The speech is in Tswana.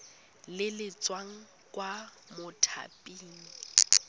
le le tswang kwa mothaping